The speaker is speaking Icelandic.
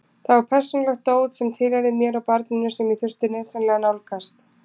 Þar var persónulegt dót sem tilheyrði mér og barninu sem ég þurfti nauðsynlega að nálgast.